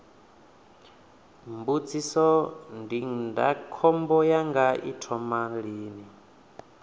mbu ndindakhombo yanga i thoma lini